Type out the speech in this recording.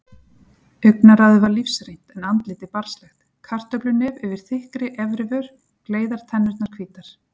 Augnaráðið var lífsreynt en andlitið barnslegt, kartöflunef yfir þykkri efrivör, gleiðar tennurnar hvítar.